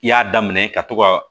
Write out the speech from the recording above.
I y'a daminɛ ka to ka